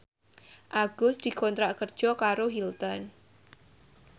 Agus dikontrak kerja karo Hilton